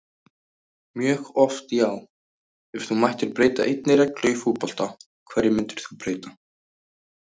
mjög oft já Ef þú mættir breyta einni reglu í fótbolta, hverju myndir þú breyta?